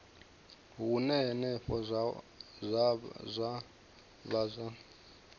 hune henefho zwa vha zwa